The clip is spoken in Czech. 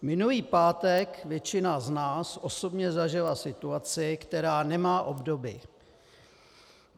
Minulý pátek většina z nás osobně zažila situaci, která nemá obdoby.